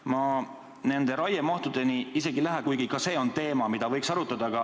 Ma nende raiemahtudeni isegi ei lähe, kuigi ka see on teema, mida võiks arutada.